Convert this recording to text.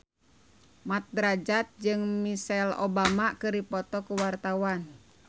Mat Drajat jeung Michelle Obama keur dipoto ku wartawan